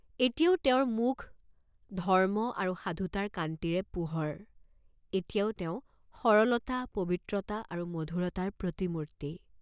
এতিয়াও তেওঁৰ মুখ ধৰ্ম আৰু সাধুতাৰ কান্তিৰে পোহৰ, এতিয়াও তেওঁ সৰলতা, পবিত্ৰতা আৰু মধুৰতাৰ প্ৰতিমূৰ্ত্ত।